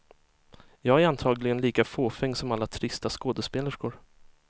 Jag är antagligen lika fåfäng som alla trista skådespelerskor.